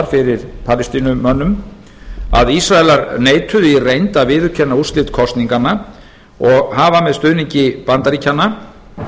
fyrir palestínumönnum að ísraelar neituðu í reynd að viðurkenna úrslit kosninganna og hafa með stuðningi bandaríkjanna